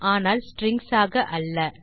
ஆனால் ஸ்ட்ரிங்ஸ் ஆக அல்ல